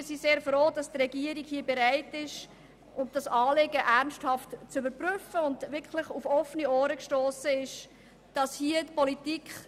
Wir sind sehr froh darüber, dass unser Anliegen bei der Regierung wirklich auf offene Ohren gestossen ist, und dass sie bereit ist, es ernsthaft zu prüfen.